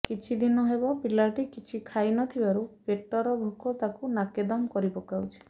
କିଛିଦିନ ହେବ ପିଲାଟି କିଛି ଖାଇ ନ ଥିବାରୁ ପେଟର ଭୋକ ତାକୁ ନାକେଦମ କରିପକାଉଛି